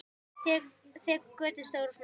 Þekur götin stór og smá.